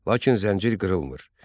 Lakin zəncir qırılmır.